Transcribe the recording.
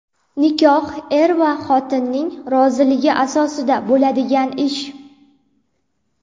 Nikoh er va xotinning roziligi asosida bo‘ladigan ish.